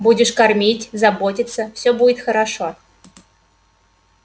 будешь кормить заботиться всё будет хорошо